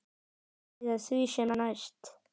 Eða því sem næst.